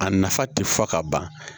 A nafa tɛ fɔ ka ban